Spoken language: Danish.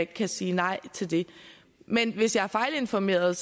kan sige nej til det men hvis jeg er fejlinformeret